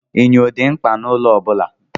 Enyo dị mkpa n'ụlọ ọbula.